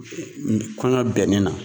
Kɔɲɔ bɛnnen na.